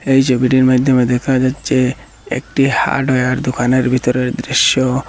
এই ছবিটির মাইধ্যমে দেখা যাচ্ছে একটি হার্ডওয়ার দোকানের ভিতরের দৃশ্য।